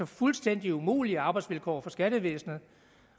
fuldstændig umulige arbejdsvilkår for skattevæsenet